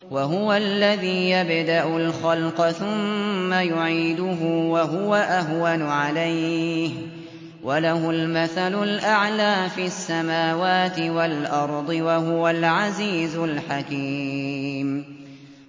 وَهُوَ الَّذِي يَبْدَأُ الْخَلْقَ ثُمَّ يُعِيدُهُ وَهُوَ أَهْوَنُ عَلَيْهِ ۚ وَلَهُ الْمَثَلُ الْأَعْلَىٰ فِي السَّمَاوَاتِ وَالْأَرْضِ ۚ وَهُوَ الْعَزِيزُ الْحَكِيمُ